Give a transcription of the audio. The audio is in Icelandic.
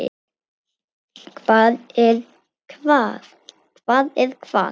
Hvar er hvað?